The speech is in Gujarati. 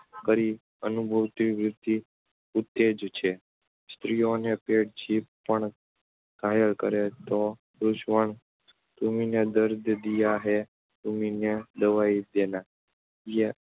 કરી અભિમાનવૃત્તિને ઉત્તેજે છે. સ્ત્રીની પેઠે જીભ પણ ઘાયલ કરે છે ને ઘા રુઝાવેય છે. તુમ્નીને દર્દ દિયા હૈ, તુમ્હીને દવાઈ દેના એમ